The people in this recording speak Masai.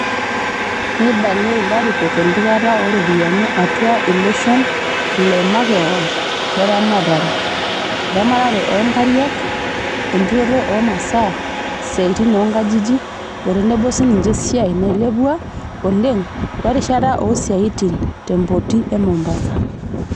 Neibalia ilarikok empikata o ropiyiani atua iloshon le makewan le ramatare, eramatare o nkariak, enturoto o masaa, siatin oonkajijik, o tenebo sininye esiai nailepua oleng o rishata o siatin te mpoti e Mombasa.